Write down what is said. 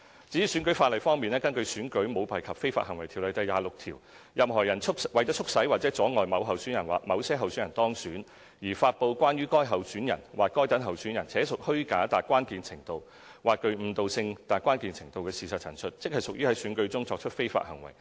至於選舉法例方面，根據《選舉條例》第26條，任何人為促使或阻礙某候選人或某些候選人當選，而發布關於該候選人或該等候選人且屬虛假達關鍵程度或具誤導性達關鍵程度的事實陳述，即屬在選舉中作出非法行為。